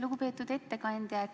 Lugupeetud ettekandja!